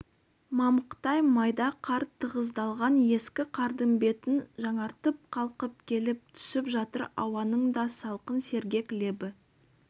мамықтай майда қар тығыздалған ескі қардың бетін жаңартып қалқып келіп түсіп жатыр ауаның да салқын-сергек лебі